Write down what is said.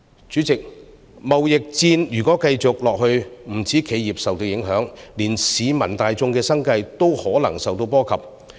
主席，如果貿易戰繼續下去，不止企業受到影響，連市民大眾的生計也可能受到波及。